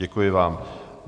Děkuji vám.